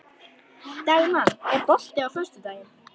Dagmann, er bolti á föstudaginn?